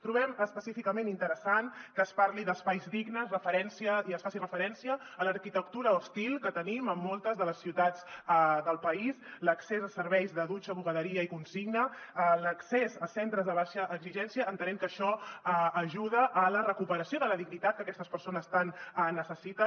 trobem específicament interessant que es parli d’espais dignes i es faci referència a l’arquitectura hostil que tenim en moltes de les ciutats del país l’accés a serveis de dutxa bugaderia i consigna l’accés a centres de baixa exigència entenent que això ajuda a la recuperació de la dignitat que aquestes persones tant necessiten